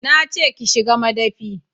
Na ce ki shiga madafi